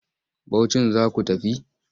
Bauchin za ku tafi?